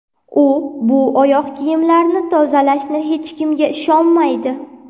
U bu oyoq kiyimlarini tozalashni hech kimga ishonmaydi.